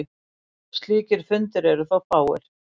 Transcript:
Slíkir fundir eru þó fáir.